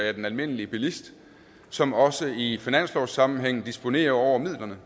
af den almindelige bilist som også i finanslovssammenhæng disponerer over midlerne